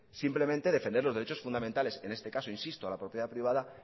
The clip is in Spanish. simplemente defender los derechos fundamentales en este caso insisto la propiedad privada